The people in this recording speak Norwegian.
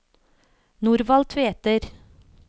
Norvald Tveter